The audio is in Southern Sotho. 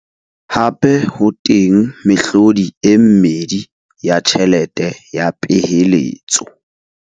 Hape ho teng mehlodi e mmedi ya tjhelete ya peheletso.